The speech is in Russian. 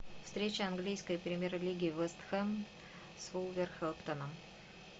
встреча английской премьер лиги вест хэм с вулверхэмптоном